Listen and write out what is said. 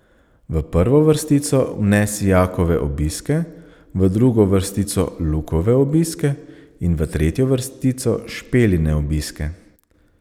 V prvo vrstico vnesi Jakove obiske, v drugo vrstico Lukove obiske in v tretjo vrstico Špeline obiske.